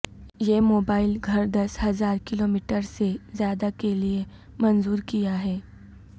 یہ موبائل گھر دس ہزار کلومیٹر سے زیادہ کے لئے منظور کیا ہے